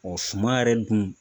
suman yɛrɛ dun